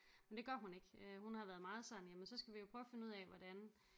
Men det gør hun ikke øh hun har været meget sådan jamen så skal vi jo prøve at finde ud af hvordan